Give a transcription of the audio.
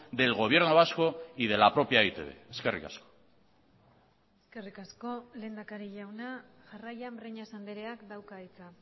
del gobierno vasco y de la propia e i te be eskerrik asko eskerrik asko lehendakari jauna jarraian breñas andreak dauka hitza